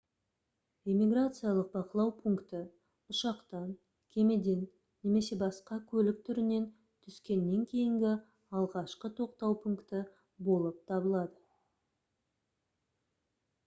иммиграциялық бақылау пункті ұшақтан кемеден немесе басқа көлік түрінен түскеннен кейінгі алғашқы тоқтау пункті болып табылады